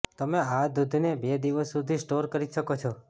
તમે આ દૂધને બે દિવસ સુધી સ્ટોર કરી શકો છો